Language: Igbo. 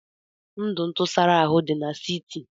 Ndụ ntụsara ahụ dị n'siti